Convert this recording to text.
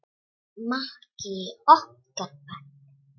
Maggi í okkar bekk?